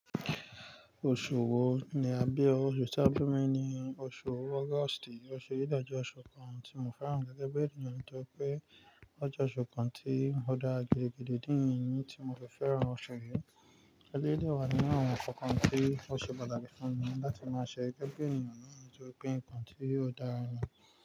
Oṣù wo ni a bí ọ? Oṣù tí a bí mi ni oṣù August. O ṣe ì dájọ́ oṣù kan tí mo fẹ́ràn gẹ́gẹ́ bí ènìyàn torí pé ọ jẹ́ oṣù kan tí n dá girigidi di irin tí mo fi fẹ́ràn oṣù yìí. Ẹ̀ lẹ́ dé wa ni àwọn nǹkan tí o ṣe pàtàkì fún mi láti máa ṣe gẹ́gẹ́ ènìyàn náà torí pé nǹkan tí yóò dára ni.